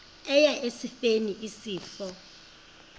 eya esifeni isifo